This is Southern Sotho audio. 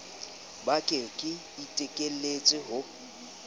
ba ka ke iteletse ho